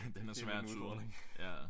Den er svær at tyde